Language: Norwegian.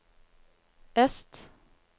øst